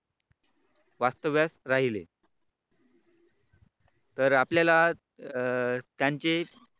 वास्तव्यास राहिले तर आपल्याला अं त्यांचे